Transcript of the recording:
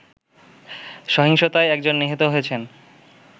সহিংসতায় একজন নিহত হয়েছেন